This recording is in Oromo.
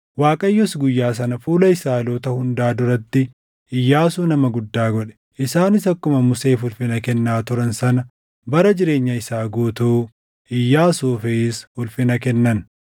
Waaqayyos guyyaa sana fuula Israaʼeloota hundaa duratti Iyyaasuu nama guddaa godhe; isaanis akkuma Museef ulfina kennaa turan sana bara jireenya isaa guutuu Iyyaasuufis ulfina kennan.